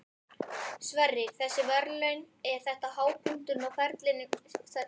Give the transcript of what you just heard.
Sverrir, þessi verðlaun, er þetta hápunkturinn á ferlinum til þess?